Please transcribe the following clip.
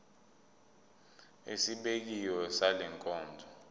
esibekiwe sale nkonzo